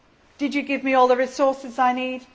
Did you give me all the resources I need?